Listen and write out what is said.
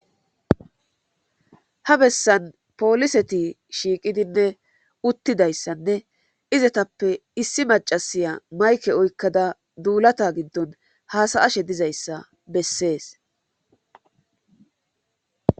ha bessan poliseti shiiqidinne uttidayssanne izatappe issi macasiya mayke oykkada duulata giddon haasaashe dizayssa bessees